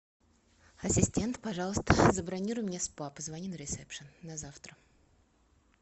ассистент пожалуйста забронируй мне спа позвони на ресепшен на завтра